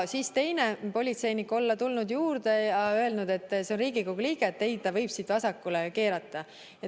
Siis oli teine politseinik juurde tulnud ja öelnud, et ei, tema on Riigikogu liige, ta võib siit vasakule keerata.